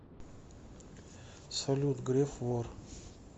салют греф вор